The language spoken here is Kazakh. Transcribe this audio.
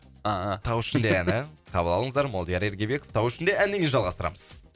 ыыы тау ішінде әні қабыл алыңыздар молдияр ергебеков тау ішінде әнінен кейін жалғастырамыз